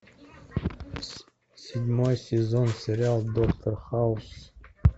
седьмой сезон сериал доктор хаус